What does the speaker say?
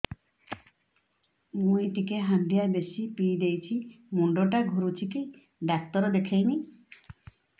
ମୁଇ ଟିକେ ହାଣ୍ଡିଆ ବେଶି ପିଇ ଦେଇଛି ମୁଣ୍ଡ ଟା ଘୁରୁଚି କି ଡାକ୍ତର ଦେଖେଇମି